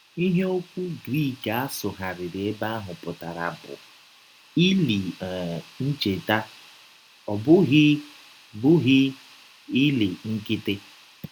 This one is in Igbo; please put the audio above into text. Ihe ọkwụ Grik a sụgharịrị ebe ahụ pụtara bụ “ ili um ncheta ” ọ bụghị bụghị “ ili ” nkịtị